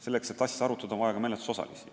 Selleks, et asja arutada, on vaja ka menetlusosalisi.